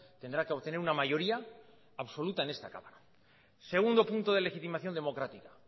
tendrá que obtener una mayoría absoluta en esta cámara segundo punto de legitimación democrática